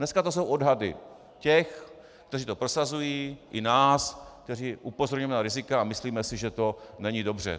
Dneska jsou to odhady těch, kteří to prosazují, i nás, kteří upozorňujeme na rizika a myslíme si, že to není dobře.